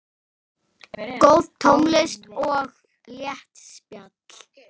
Góð tónlist og létt spjall.